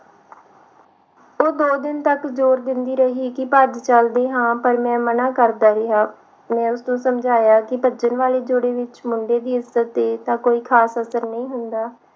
ਉਹ ਦੋ ਦਿਨ ਤੱਕ ਜੋਰ ਦਿੰਦੀ ਰਹੀ ਕਿ ਭੱਜ ਚਲਦੇ ਹਾ ਪਰ ਮੈਂ ਮਨਾ ਕਰਦਾ ਰਿਹਾ ਮੈਂ ਉਸਨੂੰ ਸਮਝਾਇਆ ਕਿ ਭੱਜਣ ਵਾਲੀ ਜੋੜੀ ਵਿਚ ਮੁੰਡੇ ਦੀ ਇੱਜਤ ਤੇ ਖਾਸ ਅਸਰ ਨਹੀਂ ਹੁੰਦਾ